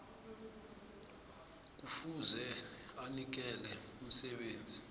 kufuze anikele umsebenzi